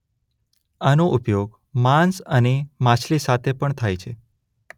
આનો ઉપયોગ માંસ અને માછલી સાથે પણ થાય છે.